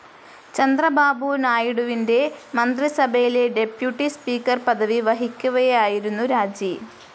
ചന്ദ്രബാബു നായിഡുവിന്റെ മന്ത്രിസഭയിൽ deputy speaker പദവി വഹിക്കവെയായിരുന്നു രാജി.